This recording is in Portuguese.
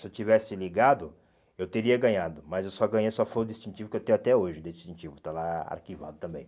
Se eu tivesse ligado, eu teria ganhado, mas eu só ganhei, só foi o distintivo que eu tenho até hoje, o distintivo está lá arquivado também.